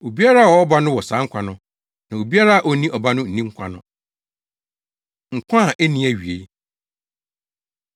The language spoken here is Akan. Obiara a ɔwɔ Ɔba no wɔ saa nkwa no, na obiara a onni Ɔba no nni nkwa no. Nkwa A Enni Awiei